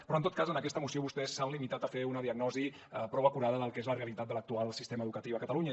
però en tot cas en aquesta moció vostès s’han limitat a fer una diagnosi prou acurada del que és la realitat de l’actual sistema educatiu a catalunya